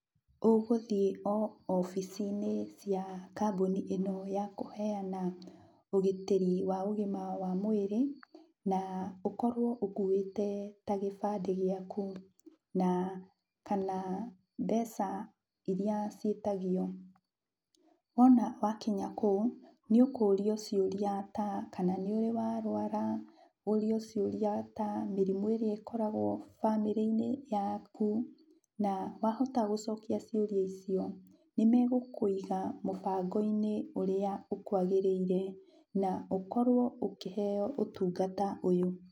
Ũgũthiĩ o obici-inĩ cia kambũni ĩno ya kũheana ũgitĩri wa ũgima wa mwĩrĩ, na ũkorwo ũkuĩte ta kĩbandĩ gĩaku, na kana mbeca iria ciĩtagio. Wona wakinya kũu, nĩ ũkũrio ciũria ta, kana nĩ ũrĩ warwara, ũrio ciũria ta mĩrimũ ĩrĩa ĩkoragwo bamĩrĩ-inĩ yaku, na wahota gũcokia ciũria icio nĩmegũkũiga mũbango-inĩ ũrĩa ũkwagĩrĩire na ũkorwo ũkĩheo ũtungata ũyũ.